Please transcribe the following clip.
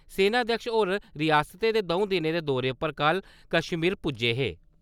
सेनाध्यक्ष होर रियासतै दे द'ऊं दिने दे दौरे पर कल कश्मीर पुज्जे हे।